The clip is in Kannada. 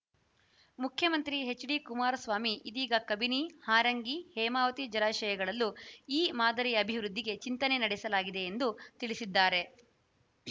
ಮುಖ್ಯಮಂತ್ರಿ ಎಚ್‌ಡಿಕುಮಾರಸ್ವಾಮಿ ಇದೀಗ ಕಬಿನಿ ಹಾರಂಗಿ ಹೇಮಾವತಿ ಜಲಾಶಯಗಳಲ್ಲೂ ಈ ಮಾದರಿ ಅಭಿವೃದ್ದಿಗೆ ಚಿಂತನೆ ನಡೆಸಲಾಗಿದೆ ಎಂದು ತಿಳಿಸಿದ್ದಾರೆ